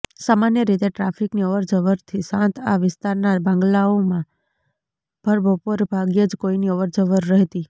સામાન્ય રીતે ટ્રાફિકની અવરજવરથી શાંત આ વિસ્તારના બંગ્લાઓમાં ભરબપોરે ભાગ્યે જ કોઇની અવરજવર રહેતી